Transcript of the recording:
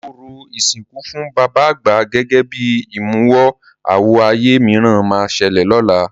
Orò ìsìnkú fún bàbá àgbà gẹ́gẹ́ bí ìmúwọ-àwọ ayé mìíràn máa ṣẹlẹ̀ lọ́la.